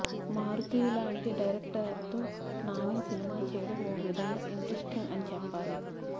మారుతి లాంటి డైరెక్టర్ తో నాని సినిమా చేయడం ఓ విధంగా ఇంట్రెస్టింగ్ అని చెప్పాలి